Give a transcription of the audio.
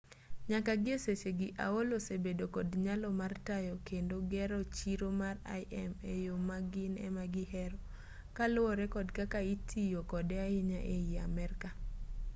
nyaka gi e sechegi aol osebedo kod nyalo mar tayo kendo gero chiro mar im e yo ma gin ema gihero kaluwore kod kaka itiyo kode ahinya ei amerka